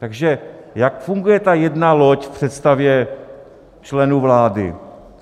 Takže jak funguje ta jedna loď v představě členů vlády?